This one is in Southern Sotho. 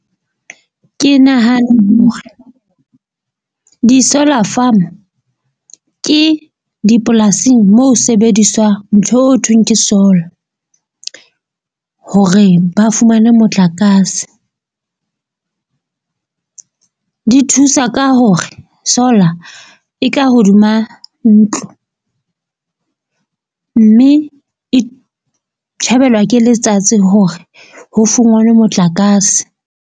Ke nahana di-solar farm ke dipolasing mo ho sebediswang ntho eo thweng ke solar. Hore ba fumane motlakase di thusa ka hore solar e ka hodima ntlo. Mme e tjhebelwa ke letsatsi hore ho fungwane motlakase.